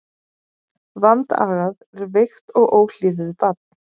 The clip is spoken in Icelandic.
Vandagað er veikt og óhlýðið barn.